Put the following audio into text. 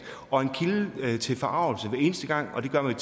og en kilde til forargelse hver eneste gang og det gør man